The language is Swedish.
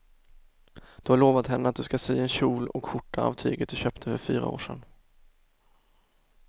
Du har lovat henne att du ska sy en kjol och skjorta av tyget du köpte för fyra år sedan.